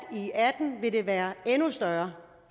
i være endnu større